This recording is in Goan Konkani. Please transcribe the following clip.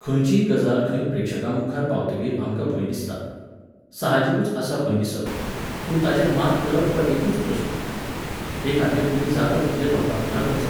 खंयचीय गजाल खंय प्रेक्षकांमुखार पावतकीर आमकां भंय दिसता. साहजिकूच आसा भंय दिसप. पूण ताचेर मात करप हो एकूच प्रश्न. तेखातीर तुमी जाता तितलें लोकांमुखार वचप